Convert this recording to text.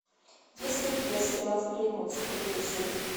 есть ли у тебя сериал сплетница третья серия